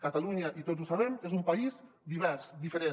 catalunya i tots ho sabem és un país divers diferent